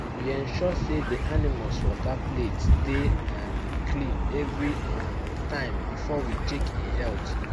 we ensure say the animals water plate dey um clean every um time before we check en health